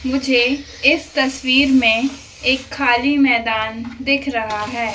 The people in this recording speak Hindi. मुझे इस तस्वीर में एक खाली मैदान दिख रहा हैं।